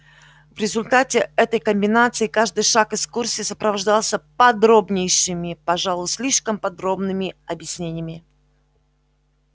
в результате этой комбинации каждый шаг экскурсии сопровождался подробнейшими пожалуй слишком подробными объяснениями